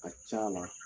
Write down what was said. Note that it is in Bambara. A ka ca la